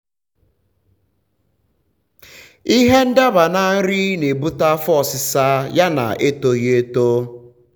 ịhe idaba na nri na ebute afọ ọsisa ya na etoghi eto